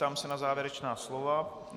Ptám se na závěrečná slova.